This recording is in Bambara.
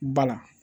Bala